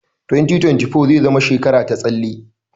2024 zai zama shekara ta tsalle.